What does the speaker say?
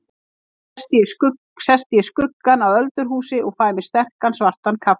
Þá sest ég í skuggann á öldurhúsi og fæ mér sterkan svartan kaffi.